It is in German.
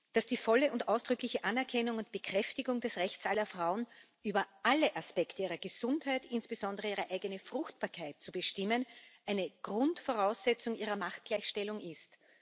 Dass die volle und ausdrückliche Anerkennung und Bekräftigung des Rechts aller Frauen, über alle Aspekte ihrer Gesundheit, insbesondere ihre eigene Fruchtbarkeit, zu bestimmen, eine Grundvoraussetzung ihrer Machtgleichstellung ist